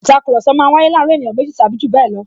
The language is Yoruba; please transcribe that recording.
Ìtakùrọ̀sọ máa ń waye láàárín ènìyàn méjì tàbí jù bẹẹ lọ